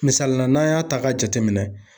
Misalila n'an y'a ta k'a jateminɛ.